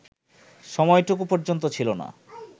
সময়টুকু পর্যন্ত ছিল না